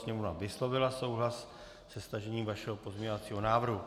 Sněmovna vyslovila souhlas se stažením vašeho pozměňovacího návrhu.